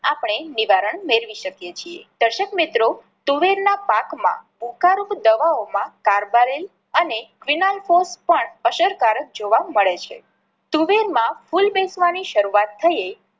આપણે નિવારણ મેળવી શકીએ છીએ. દર્શક મિત્રો તુવેર ના પાક માં ઉકા રૂપ દવાઓ માં કારબારેલ અને ફિનાઇલ ફોસ પણ અસરકારક જોવા મળે છે. તુવેર માં ફૂલ બેસવાની શરૂઆત થયે